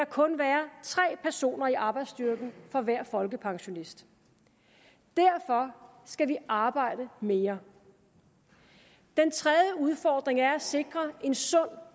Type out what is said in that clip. kun være tre personer i arbejdsstyrken for hver folkepensionist derfor skal vi arbejde mere den tredje udfordring er at sikre en sund